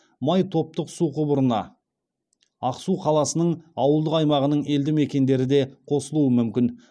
май топтық су құбырына ақсу қаласының ауылдық аймағының елді мекендері де қосылуы мүмкін